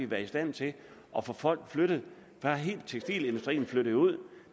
været i stand til at få folk flyttet da hele tekstilindustrien flyttede ud